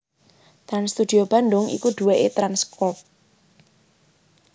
Trans Studio Bandung iku duwéké Trans Crop